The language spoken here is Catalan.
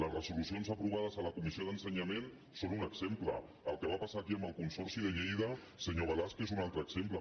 les resolucions aprovades a la comissió d’ensenyament en són un exemple el que va passar aquí amb el consorci de lleida senyor balasch n’és un altre exemple